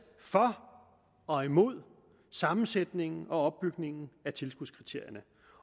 for og imod sammensætningen og opbygningen af tilskudskriterierne